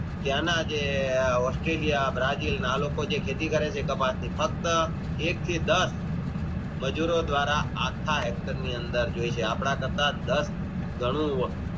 ત્યાંના જે Australian Brazil આલોકો જે ખેતી કરે છે ફક્ત એક થી દસ મજૂરો દ્વારા આખા Hector ની અંદર જોય છે અપને કરતા દસ ગણી